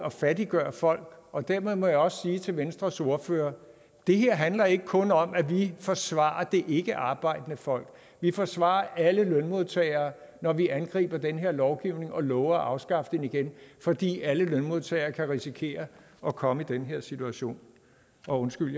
at fattiggøre folk og dermed må jeg også sige til venstres ordfører det her handler ikke kun om at vi forsvarer det ikkearbejdende folk vi forsvarer alle lønmodtagere når vi angriber den her lovgivning og lover at afskaffe den igen fordi alle lønmodtagere kan risikere at komme i den her situation og undskyld